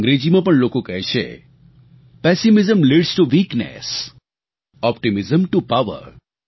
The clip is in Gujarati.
અંગ્રેજીમાં પણ લોકો કહે છે pessimism leads to weakness optimism to power